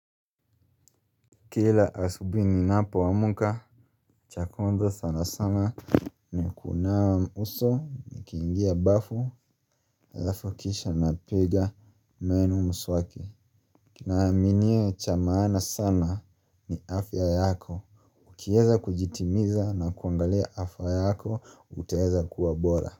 Kila asubuhi ninapoamka cha kwanza sana sana ni kunawa uso, nikiingia bafu alafu kisha napiga meno mswaki. Kinaaminiwa cha maana sana ni afya yako. Ukiweza kujitimiza na kuangalia afya yako, utaweza kuwa bora.